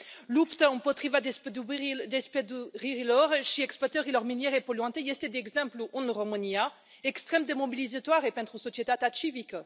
Lupta împotriva despăduririlor și exploatărilor miniere poluante este, de exemplu, în România extrem de mobilizatoare pentru societatea civică.